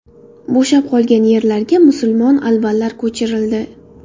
Bo‘shab qolgan yerlarga musulmon albanlar ko‘chirildi.